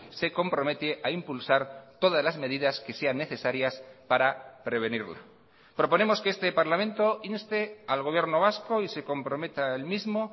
se compromete a impulsar todas las medidas que sean necesarias para prevenirla proponemos que este parlamento inste al gobierno vasco y se comprometa el mismo